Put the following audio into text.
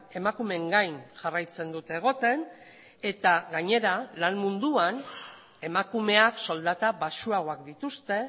emakumeen gain jarraitzen dute egoten eta gainera lan munduan emakumeak soldata baxuagoak dituzte